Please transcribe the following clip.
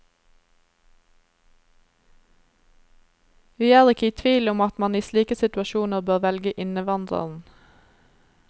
Vi er ikke i tvil om at man i slike situasjoner bør velge innvandreren.